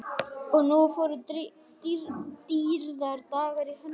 Og nú fóru dýrðardagar í hönd.